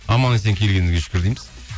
аман есен келгеніңізге шүкір дейміз